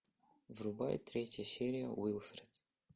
врубай третья серия уилфред